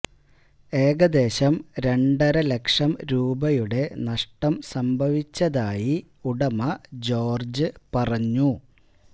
ഏകദേശം രണ്ടര ലക്ഷം രൂപയുടെ നഷ്ടം സംഭവിച്ചതായി ഉടമ ജോര്ജ് പറഞ്ഞു